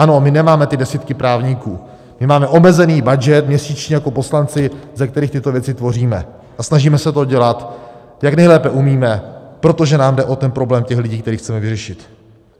Ano, my nemáme ty desítky právníků, my máme omezený budget měsíčně jako poslanci, ze kterých tyto věci tvoříme, a snažíme se to dělat, jak nejlépe umíme, protože nám jde o ten problém těch lidí, který chceme vyřešit.